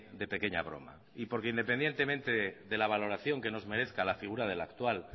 de pequeña broma y porque independientemente de la valoración que nos merezca la figura del actual